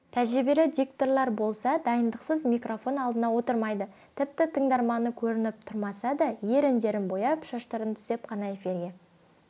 тәжірибелі дикторлар болса дайындықсыз микрофон алдына отырмайды тіпті тыңдарманы көрініп тұрмаса да еріндерін бояп шаштарын түзеп қана эфирге